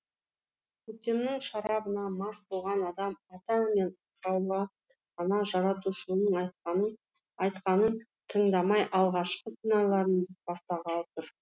көктемнің шарабына мас болған адам ата мен хауа ана жаратушының айтқанын тыңдамай алғашқы күнәларын бастағалы тұр